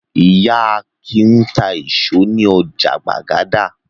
Ìyá Akin ń ta àwọn ìṣó ní ọjà Gbàgádà.